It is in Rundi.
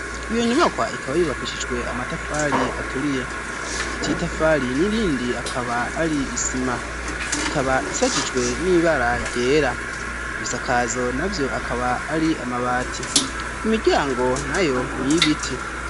Iyo nyubakwa ikaba yubakishijwe amatafari aturiye akatiitafaali ni rindi akaba ali isima ikaba isakitwe n'imibala gyeera ebisakaazo navyo akaba ali amabaati emigango nayo ni yibiti.